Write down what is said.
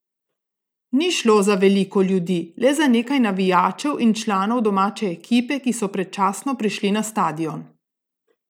Ni šlo za veliko ljudi, le za nekaj navijačev in članov domače ekipe, ki so predčasno prišli na stadion.